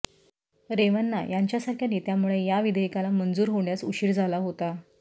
रेवन्ना यांच्या सारख्या नेत्यामुळे या विधेयकाला मंजूर होण्यास उशीर झाला होता